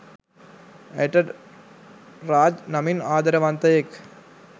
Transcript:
ඇයට රාජ් නමින් ආදරවන්තයෙක්